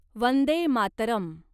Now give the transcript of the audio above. Vande Mataram